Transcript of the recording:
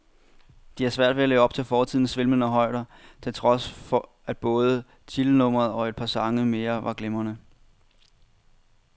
De har svært ved at leve op til fortidens svimlende højder, til trods for at både titelnummeret og et par sange mere var glimrende.